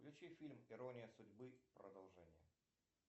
включи фильм ирония судьбы продолжение